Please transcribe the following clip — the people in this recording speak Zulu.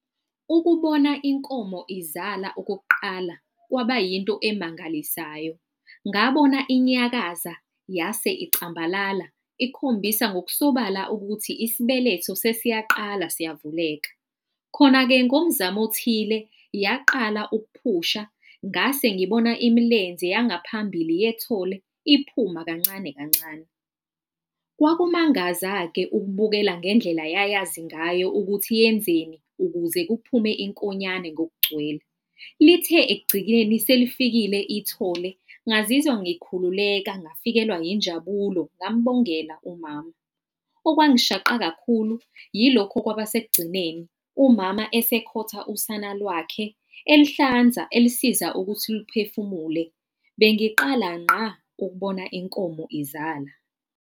Ukubona inkomo izala okokuqala, kwaba yinto emangalisayo. Ngabona inyakaza yase icambalala ikhombisa ngokusobala ukuthi isibeletho sesiyaqala siyavuleka. Khona-ke, ngomzamo othile yaqala ukuphusha. Ngase ngibona imilenze yangaphambili yethole iphuma kancane kancane. Kwakumangaza-ke ukubukela ngendlela yayazi ngayo ukuthi yenzeni, ukuze kuphume inkonyane ngokugcwele. Lithe ekugcikeni selifikile ithole, ngazizwa ngikhuleka, ngafikelwa injabulo ngambongela umama. Okwangishaqa kakhulu yilokhu okwaba esekugcineni. Umama esekhotha usana lwakhe elihlanza elisiza ukuthi liphefumule. Bengiqala ngqa ukubona inkomo izala.